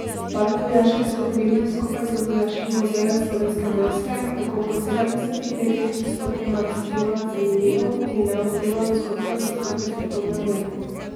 Park vojaške zgodovine skupaj z Vojaškim muzejem Slovenske vojske tako po sedemdesetih letih postopoma razkriva zanimivo in neobdelano zgodbo iz druge svetovne vojne.